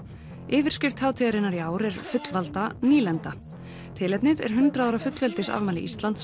yifrskrift hátíðarinnar í ár er fullvalda nýlenda tilefnið er hundrað ára fullveldisafmæli Íslands